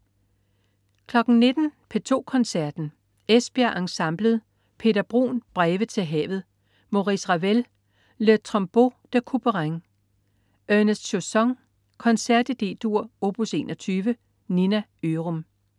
19.00 P2 Koncerten. Esbjerg Ensemblet. Peter Bruun: Breve til havet. Maurice Ravel: Le Tombeau de Couperin. Ernest Chausson: Koncert i D-dur, op. 21. Nina Ørum